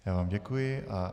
Já vám děkuji.